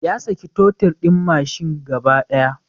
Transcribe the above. Ya saki totir din mashin gaba daya